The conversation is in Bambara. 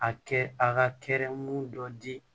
A kɛ a ka kɛrɛn dɔ di